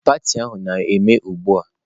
Pati a na-eme ugbu a.